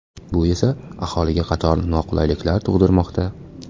Bu esa, aholiga qator noqulayliklar tug‘dirmoqda.